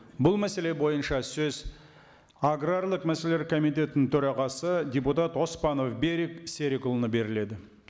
бұл мәселе бойынша сөз аграрлық мәселелер комитетінің төрағасы депутат оспанов берік серікұлына беріледі